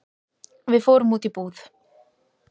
Við fórum út í búð.